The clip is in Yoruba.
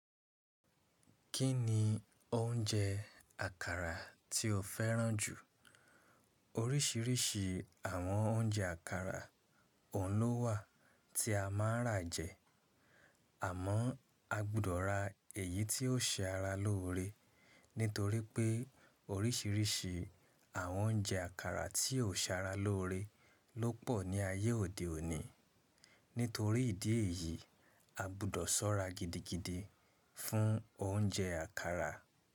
Kí ni oúnjẹ àkàrà tí o fẹ́ràn jù? Oríṣiríṣi àwọn oúnjẹ àkàrà ọ̀un lọ wà tí a máa ń rà jẹ. Àmọ́ a gbudọ̀ ra èyí tí ó ṣe ara lóore. Nítorí pé oríṣiríṣi àwọn oúnjẹ àkàrà tí ò ṣe ara lóore ló pọ̀ ní ayé òde òní. Nítorí ìdí èyí, a gbudọ̀ ṣọ́ra gidigidi fún oúnjẹ àkàrà.